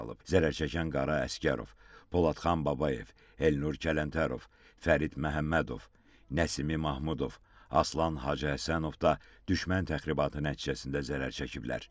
Zərər çəkən Qara Əsgərov, Poladxan Babayev, Elnur Kələntərov, Fərid Məhəmmədov, Nəsimi Mahmudov, Aslan Hacıhəsənov da düşmən təxribatı nəticəsində zərər çəkiblər.